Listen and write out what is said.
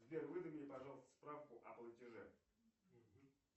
сбер выдай мне пожалуйста справку о платеже